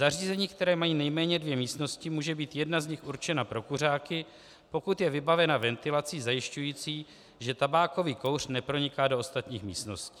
Zařízení, která mají nejméně dvě místnosti, může být jedna z nich určena pro kuřáky, pokud je vybavena ventilací zajišťující, že tabákový kouř neproniká do ostatních místností.